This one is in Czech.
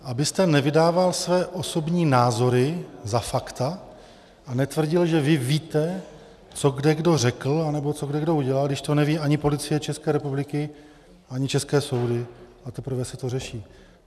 Abyste nevydával svoje osobní názory za fakta a netvrdil, že vy víte, co kde kdo řekl nebo co kde kdo udělal, když to neví ani Policie České republiky, ani české soudy a teprve se to řeší.